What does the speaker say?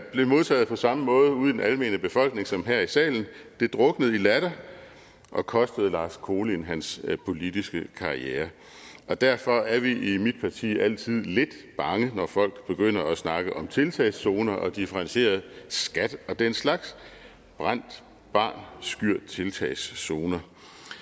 blev modtaget på samme måde ude i den almene befolkning som her i salen det druknede i latter og kostede lars kolind hans politiske karriere derfor er vi i mit parti altid lidt bange når folk begynder at snakke om tiltagszoner differentieret skat og den slags brændt barn skyr tiltagszoner